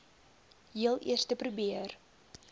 heel eerste probeer